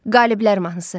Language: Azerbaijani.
Qaliblər mahnısı.